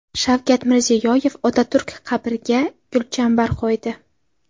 Shavkat Mirziyoyev Otaturk qabriga gulchambar qo‘ydi.